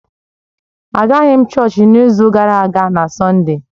Agaghị m chọọchị n’izu gara aga na Sọnde